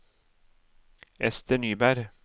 Esther Nyberg